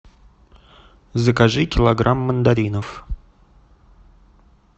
закажи килограмм мандаринов